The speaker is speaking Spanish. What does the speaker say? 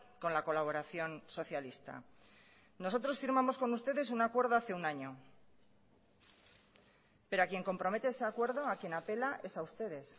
con la colaboración socialista nosotros firmamos con ustedes un acuerdo hace un año pero a quién compromete ese acuerdo a quien apela es a ustedes